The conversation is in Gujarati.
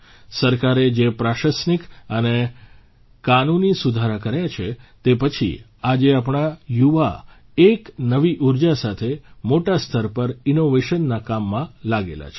સરકારે જે પ્રશાસનિક અને કાનૂની સુધારા કર્યા છે તે પછી આજે આપણા યુવા એક નવી ઊર્જા સાથે મોટા સ્તર પર ઇન્નોવેશનના કામમાં લાગેલા છે